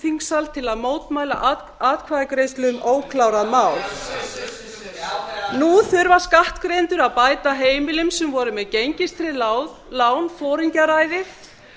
þingsal til að mótmæla atkvæðagreiðslu um óklárað mál nú þurfa skattgreiðendur að bæta heimilum sem voru með gengistryggð lán foringjaræðið